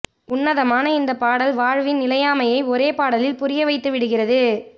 உன்னதமான இந்தப் பாடல் வாழ்வின் நிலையாமையை ஒரே பாடலில் புரிய வைத்துவிடுகிறது